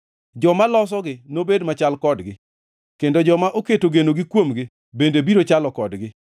Joma losogi nobed machal kodgi, kendo joma oketo genogi kuomgi bende biro chalo kodgi.